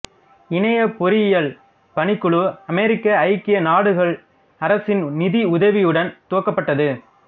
இணைய பொறியியல் பணிக்குழு அமெரிக்க ஐக்கிய நாடுகள் அரசின் நிதி உதவியுடன் துவக்கப்பட்டது